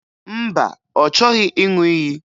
Mba, ọ chọghị ịṅụ iyi